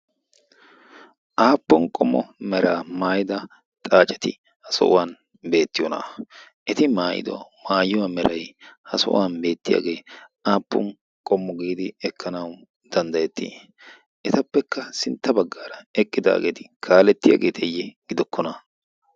aappon qommo meraa maayida xaaceti ha sohuwan beettiyoona eti maayido maayuwaa merai ha sohuwan beettiyaagee aappun qommo giidi ekkanawu danddayettii etappekka sintta baggaara eqqidaageeti kaalettiyaageeteeyye gidokkona